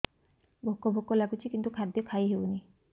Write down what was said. ଭୋକ ଭୋକ ଲାଗୁଛି କିନ୍ତୁ ଖାଦ୍ୟ ଖାଇ ହେଉନି